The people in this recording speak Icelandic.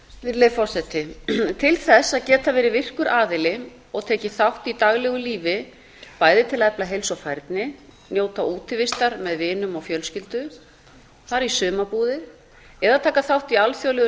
virðulegi forseti til þess að geta verið virkur aðili og tekið þátt í daglegu lífi bæði til að efla heilsu og færni njóta útivistar með vinum og fjölskyldu fara í sumarbúðir eða taka þátt í alþjóðlegu